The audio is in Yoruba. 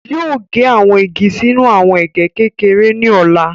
Yoo ge awọn igi sinu awọn ege kekere ni ọla